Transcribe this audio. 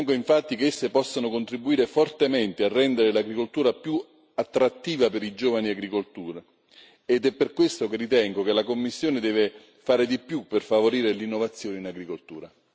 Ritengo infatti che esse possano contribuire fortemente a rendere l'agricoltura più attrattiva per i giovani agricoltori ed è per questo che ritengo che la Commissione debba fare di più per favorire l'innovazione in agricoltura.